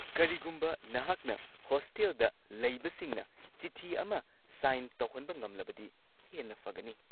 ꯀꯔꯤꯒꯨꯝꯕ ꯅꯍꯥꯛꯅ ꯍꯣꯁꯇꯦꯜꯗ ꯂꯩꯕꯁꯤꯡꯅ ꯆꯤꯊꯤ ꯑꯃ ꯁꯥꯏꯟ ꯇꯧꯍꯟꯕ ꯉꯝꯂꯕꯗꯤ ꯍꯦꯟꯅ ꯐꯒꯅꯤ꯫